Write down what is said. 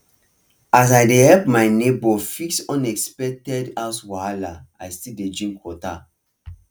as i dey help my neighbor fix unexpected house wahala i still dey drink water